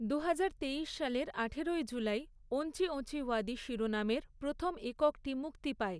দুহাজার তেইশ সালের আঠারোই জুলাই ওঞ্চি ওঁচি ওয়াদি শিরোনামের প্রথম এককটি মুক্তি পায়।